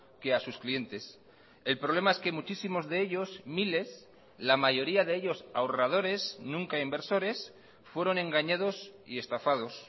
que a sus clientes el problema es que muchísimos de ellos miles la mayoría de ellos ahorradores nunca inversores fueron engañados y estafados